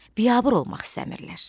Biabır olmaq istəmirlər.